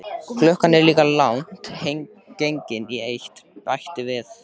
Klukkan er líka langt gengin í eitt, bætti hann við.